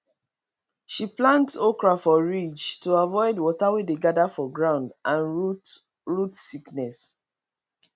she plant okra for ridge to avoid water wey dey gather for ground and root root sickness